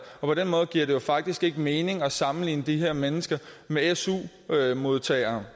på den måde giver det jo faktisk ikke mening at sammenligne de her mennesker med su modtagere